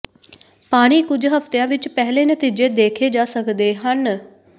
ਪਾਣੀ ਕੁਝ ਹਫਤਿਆਂ ਵਿਚ ਪਹਿਲੇ ਨਤੀਜੇ ਦੇਖੇ ਜਾ ਸਕਦੇ ਹਨ